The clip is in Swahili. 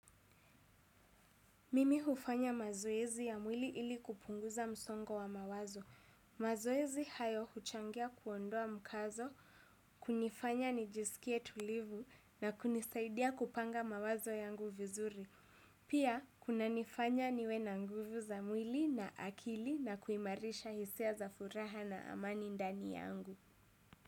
Mimi hufanya mazoezi ya mwili ili kupunguza msongo wa mawazo. Mazoezi hayo huchangia kuondoa mkazo, kunifanya nijisikie tulivu na kunisaidia kupanga mawazo yangu vizuri. Pia, kuna nifanya niwe na nguvu za mwili na akili na kuimarisha hisia za furaha na amani ndani yangu.